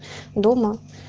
дома